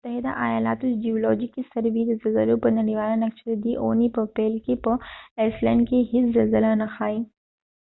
د متحده ایالاتو د جیولوجیکي سروي د زلزلو نړیواله نقشه ددې اوونی په پیل کې په ایسلینډ کې هیڅ زلزله نه ښایې